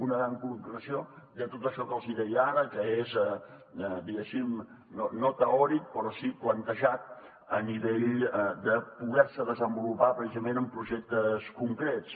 una gran concreció de tot això que els deia ara que és diguéssim no teòric però sí plantejat a nivell de poder se desenvolupar precisament en projectes concrets